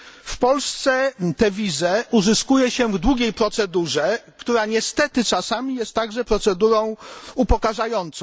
W Polsce tę wizę uzyskuje się w długiej procedurze, która niestety czasami jest także procedurą upokarzającą.